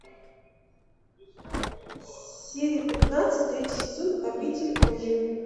серия пятнадцать третий сезон обитель лжи